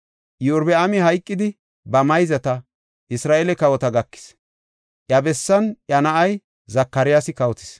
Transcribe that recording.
Iyorbaami hayqidi, ba mayzata, Isra7eele kawota gakis; iya bessan iya na7ay Zakaryaasi kawotis.